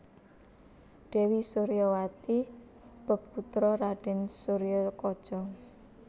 Dèwi Suryawati peputra Raden Suryakaca